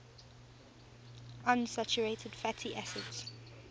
unsaturated fatty acids